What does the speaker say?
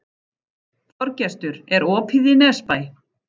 Þorgestur, er opið í Nesbæ?